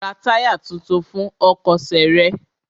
Ra táyà tuntun fún ọkọ̀ ṣe rẹ!